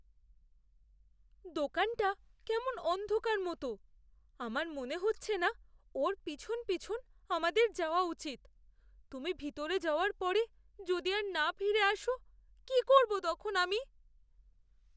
দোকানটা কেমন অন্ধকার মতো। আমার মনে হচ্ছে না ওর পিছন পিছন আমাদের যাওয়া উচিত। তুমি ভিতরে যাওয়ার পরে যদি আর না ফিরে আসো, কী করব তখন আমি?